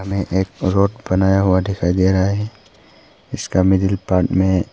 यह एक रोड़ बनाया हुआ दिखाई दे रहा है इसका मिडिल पार्ट में--